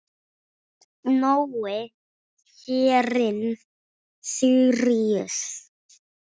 Nói Hreinn Síríus.